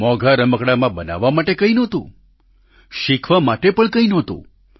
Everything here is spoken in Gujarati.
મોંઘા રમકડાંમાં બનાવવા માટે કંઈ પણ નહોતું શિખવા માટે પણ કંઈ નહોતું